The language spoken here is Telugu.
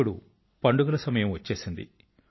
ఇప్పుడు పండుగల సమయం వచ్చేసింది